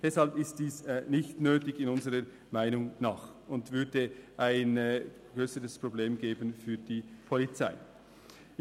Deshalb ist dies unserer Meinung nach nicht nötig und würde ein grösseres Problem für die Polizei darstellen.